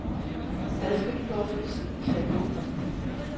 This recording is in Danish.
Hvad skal du dog få tiden til at gå med?